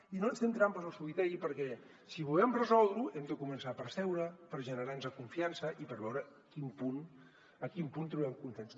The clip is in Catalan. i no ens fem trampes al solitari perquè si volem resoldre ho hem de començar per seure per generar nos confiança i per veure a quin punt trobem consens